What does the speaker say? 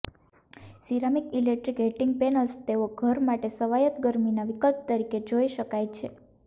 ceramic electric heating panels તેઓ ઘર માટે સ્વાયત્ત ગરમીના વિકલ્પ તરીકે જોઇ શકાય છે